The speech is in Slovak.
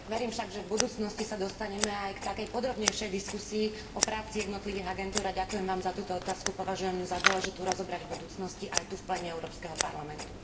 Verím však, že v budúcnosti sa dostane aj k takej podrobnejšej diskusii o práci jednotlivých agentúr a ďakujem Vám za túto otázku, považujem za dôležité rozobrať ju v budúcnosti aj tu v pléne Európskeho parlamentu.